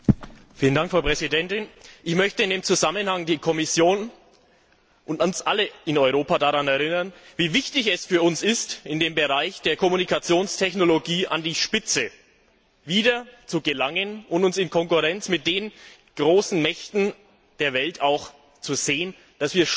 Frau Präsidentin! Ich möchte in diesem Zusammenhang die Kommission und uns alle in Europa daran erinnern, wie wichtig es für uns ist, im Bereich der Kommunikationstechnologie wieder an die Spitze zu gelangen und uns in Konkurrenz zu den großen Mächten der Welt zu sehen, damit wir stolz